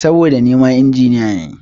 Saboda nima Injiniya ne.